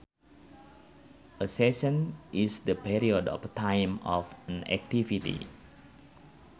A session is the period of time of an activity